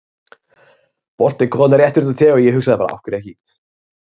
Boltinn kom þarna rétt fyrir utan teiginn og ég hugsaði bara af hverju ekki?